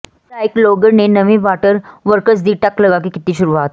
ਵਿਧਾਇਕ ਲੋਹਗੜ੍ਹ ਨੇ ਨਵੇਂ ਵਾਟਰ ਵਰਕਸ ਦੀ ਟੱਕ ਲਗਾ ਕੇ ਕੀਤੀ ਸ਼ੁਰੂਆਤ